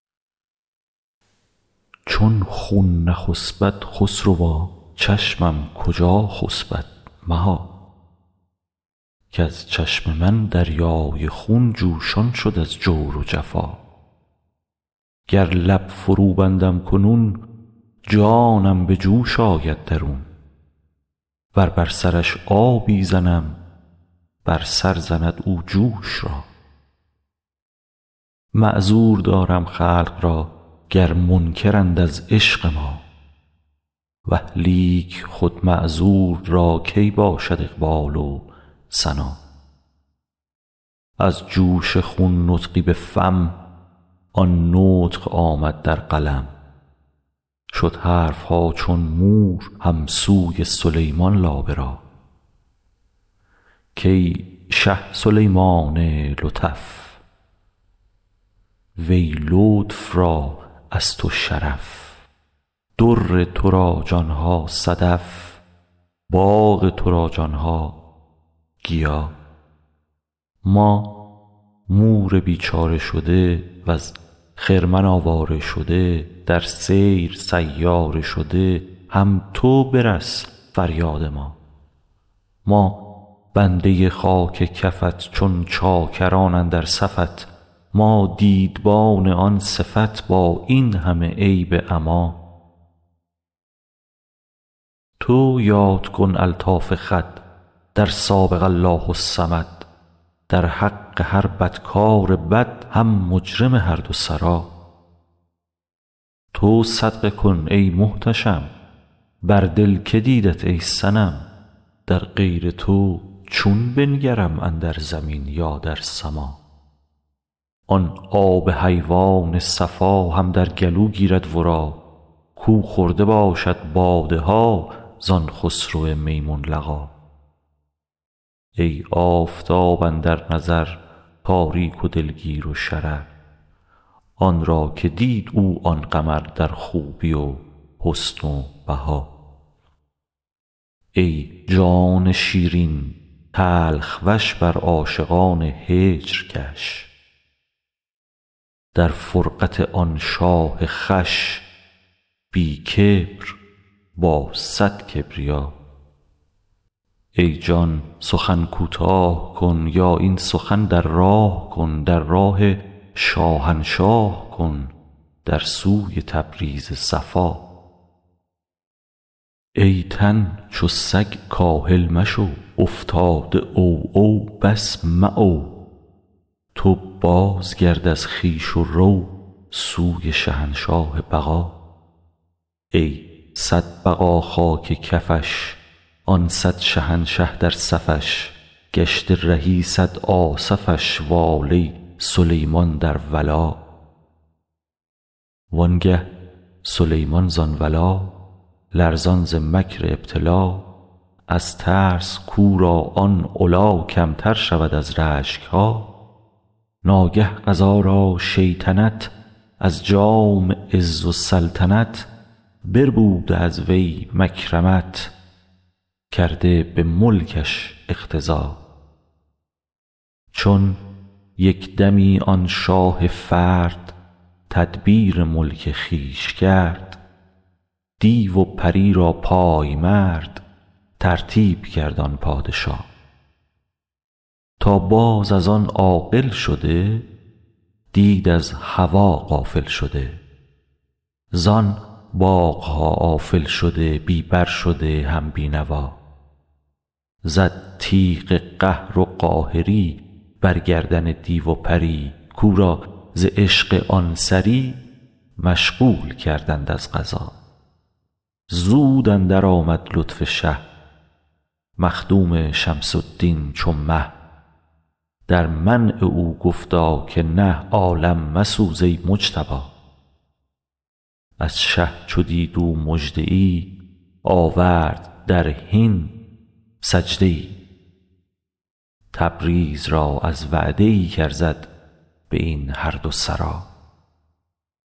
چون خون نخسپد خسروا چشمم کجا خسپد مها کز چشم من دریای خون جوشان شد از جور و جفا گر لب فروبندم کنون جانم به جوش آید درون ور بر سرش آبی زنم بر سر زند او جوش را معذور دارم خلق را گر منکرند از عشق ما اه لیک خود معذور را کی باشد اقبال و سنا از جوش خون نطقی به فم آن نطق آمد در قلم شد حرف ها چون مور هم سوی سلیمان لابه را کای شه سلیمان لطف وی لطف را از تو شرف در تو را جان ها صدف باغ تو را جان ها گیا ما مور بیچاره شده وز خرمن آواره شده در سیر سیاره شده هم تو برس فریاد ما ما بنده خاک کفت چون چاکران اندر صفت ما دیدبان آن صفت با این همه عیب عما تو یاد کن الطاف خود در سابق الله الصمد در حق هر بدکار بد هم مجرم هر دو سرا تو صدقه کن ای محتشم بر دل که دیدت ای صنم در غیر تو چون بنگرم اندر زمین یا در سما آن آب حیوان صفا هم در گلو گیرد ورا کو خورده باشد باده ها زان خسرو میمون لقا ای آفتاب اندر نظر تاریک و دلگیر و شرر آن را که دید او آن قمر در خوبی و حسن و بها ای جان شیرین تلخ وش بر عاشقان هجر کش در فرقت آن شاه خوش بی کبر با صد کبریا ای جان سخن کوتاه کن یا این سخن در راه کن در راه شاهنشاه کن در سوی تبریز صفا ای تن چو سگ کاهل مشو افتاده عوعو بس معو تو بازگرد از خویش و رو سوی شهنشاه بقا ای صد بقا خاک کفش آن صد شهنشه در صفش گشته رهی صد آصفش واله سلیمان در ولا وانگه سلیمان زان ولا لرزان ز مکر ابتلا از ترس کو را آن علا کمتر شود از رشک ها ناگه قضا را شیطنت از جام عز و سلطنت بربوده از وی مکرمت کرده به ملکش اقتضا چون یک دمی آن شاه فرد تدبیر ملک خویش کرد دیو و پری را پای مرد ترتیب کرد آن پادشا تا باز از آن عاقل شده دید از هوا غافل شده زان باغ ها آفل شده بی بر شده هم بی نوا زد تیغ قهر و قاهری بر گردن دیو و پری کو را ز عشق آن سری مشغول کردند از قضا زود اندرآمد لطف شه مخدوم شمس الدین چو مه در منع او گفتا که نه عالم مسوز ای مجتبا از شه چو دید او مژده ای آورد در حین سجده ای تبریز را از وعده ای کارزد به این هر دو سرا